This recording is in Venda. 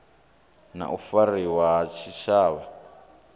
na u fariwa ha tshitshavha